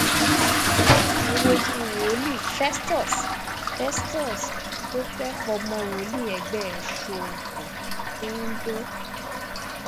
ẹ wojú wòlíì festus festus tó fẹ fọmọ wòlíì ẹgbẹ́ rẹ̀ ṣoògùn lóndó